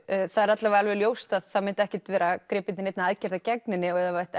það er alla vega alveg ljóst að það myndi ekkert vera gripið til neinna aðgerða gegn henni ef það ætti